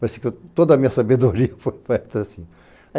Parece que toda a minha sabedoria foi feita assim.